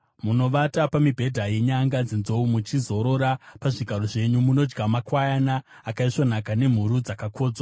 Munovata pamibhedha yenyanga dzenzou, muchizorora pazvigaro zvenyu. Munodya makwayana akaisvonaka nemhuru dzakakodzwa.